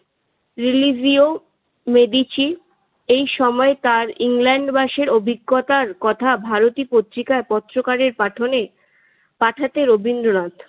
রিলিভিও মেডিচি। এই সময়ে তার ইংল্যান্ড বাসের অভিজ্ঞতার কথা ভারতীয় পত্রিকার পত্রকারের কথনে পাঠাতেন রবীন্দ্রনাথ।